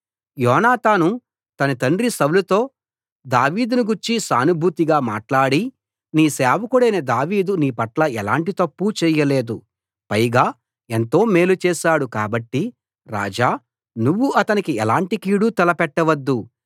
యోనాతాను తన తండ్రి సౌలుతో దావీదును గూర్చి సానుభూతిగా మాట్లాడి నీ సేవకుడైన దావీదు నీపట్ల ఎలాంటి తప్పూ చేయలేదు పైగా ఎంతో మేలు చేశాడు కాబట్టి రాజా నువ్వు అతనికి ఎలాంటి కీడూ తలపెట్టవద్దు